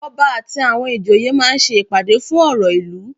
Ọba àti àwọn ìjòyè máa ń ṣe ìpàdé fún ọ̀rọ̀ ìlú.